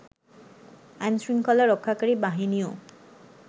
আইনশৃংখলা রক্ষাকারী বাহিনীও